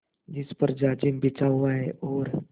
जिस पर जाजिम बिछा हुआ है और